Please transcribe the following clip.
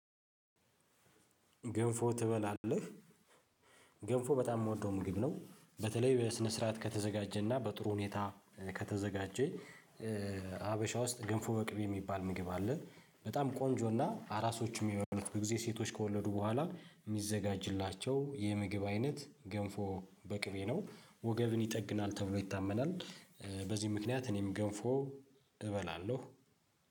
ገንፎ ትበላለህ? ገንፎ በጣም የምወደው ምግብ ነው በተለይ በስነ ስርዓት ከተዘጋጀና በጥሩ ሁኔታ ከተዘጋጀ። ሀበሻ ውስጥ ገንፎ ወቅቤ የሚባል ምግብ አለ። በጣም ቆንጆና አራሶች የሚበሉት ብዙ ጊዜ ሴቶች ከወለዱ በኋላ የሚዘጋጅላቸው የምግብ አይነት ገንፎ በቅቤ ነው ወገብን ይጠግናል ተብሎ ይታመናል። በዚህ ምክንያት እኔም ገንፎ እበላለሁ